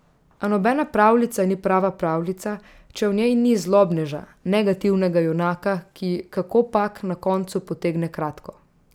A nobena pravljica ni prava pravljica, če v njej ni zlobneža, negativnega junaka, ki, kakopak, na koncu potegne kratko.